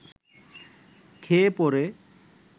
খেয়ে-পরে